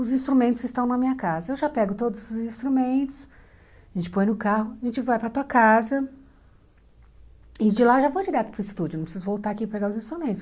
Os instrumentos estão na minha casa, eu já pego todos os instrumentos, a gente põe no carro, a gente vai para tua casa, e de lá eu já vou direto para o estúdio, não preciso voltar aqui e pegar os instrumentos.